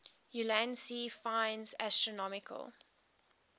ulansey finds astronomical